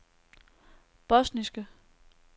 bosniske